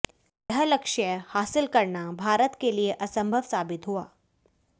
यह लक्ष्य हासिल करना भारत के लिए असंभव साबित हुआ